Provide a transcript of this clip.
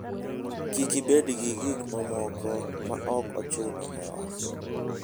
Kik ibed gi gik mamoko ma ok ochuno e ot.